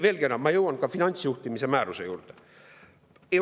Veelgi enam, ma jõuan ka finantsjuhtimise määruse juurde.